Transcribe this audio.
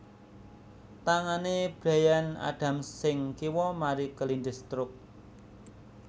Tangane Bryan Adams sing kiwa mari kelindes truk